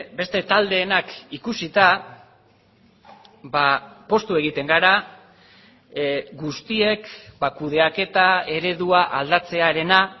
beste taldeenak ikusita poztu egiten gara guztiek kudeaketa eredua aldatzearena